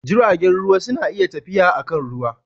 Jiragen ruwa suna tafiya akan ruwa